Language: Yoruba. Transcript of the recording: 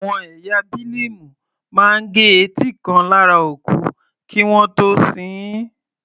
Àwọn ẹ̀yà Bílíìmù máa gẹ etí kan lára òkú kí wọ́n tó sin ín.